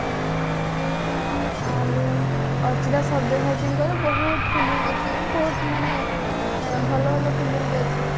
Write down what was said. ଆଉ ଅର୍ଚିତା ସବ୍ୟାସଚିଙ୍କ ବହୁତ film ଅଛି ବହୁତ ମାନେ ଆଁ ଭଲ ଭଲ film ବି ଅଛି